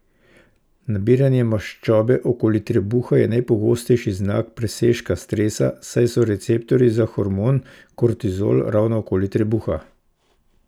Nabiranje maščobe okoli trebuha je najpogostejši znak presežka stresa, saj so receptorji za hormon kortizol ravno okoli trebuha!